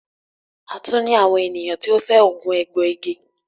a tun ní àwọn ènìyàn tí o fẹ oogun egboigi